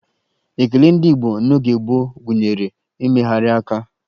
Ekele ndị Igbo n'oge gboo gụnyere mmegharị aka